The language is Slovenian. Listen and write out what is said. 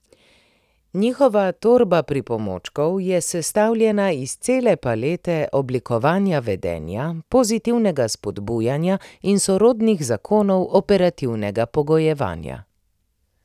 Njihova torba pripomočkov je sestavljena iz cele palete oblikovanja vedenja, pozitivnega spodbujanja in sorodnih zakonov operativnega pogojevanja.